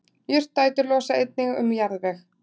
jurtaætur losa einnig um jarðveg